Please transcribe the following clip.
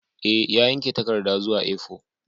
E, ya yanke takarda zuwa A4